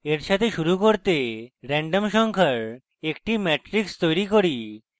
এর সাথে শুরু করতে রেন্ডম সংখ্যার একটি matrix তৈরী করি